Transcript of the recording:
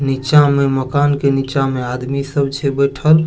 नीचा में मकान के नीचा में आदमी सब छै बैठल।